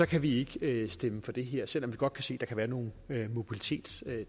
kan vi ikke stemme for det her selv om vi godt kan se at der kan være nogle mobilitetsting i